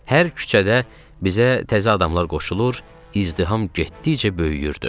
Hər küçədə bizə təzə adamlar qoşulur, izdiham getdikcə böyüyürdü.